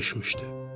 Gecə düşmüşdü.